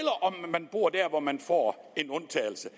han bor der hvor man får en undtagelse